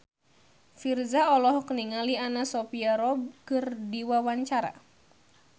Virzha olohok ningali Anna Sophia Robb keur diwawancara